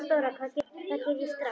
THEODÓRA: Það geri ég ekki strax.